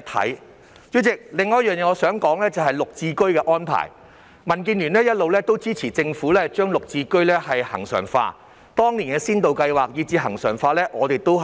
代理主席，我想說的另一點是綠表置居計劃的安排，民建聯一直支持政府將綠置居恆常化，當年的先導計劃以至其恆常化，我們都